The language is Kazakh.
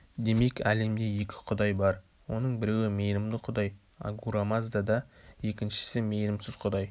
демек әлемде екі құдай бар оның біреуі мейірімді құдай агура мазда да екіншісі мейірімсіз құдай